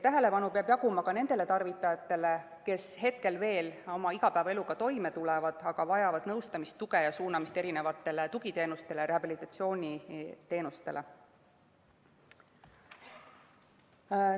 Tähelepanu peab jaguma ka nendele tarvitajatele, kes veel oma igapäevaeluga toime tulevad, aga vajavad nõustamist, tuge ning tugi- ja rehabilitatsiooniteenuseid.